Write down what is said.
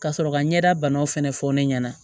Ka sɔrɔ ka ɲɛda banaw fɛnɛ fɔ ne ɲɛna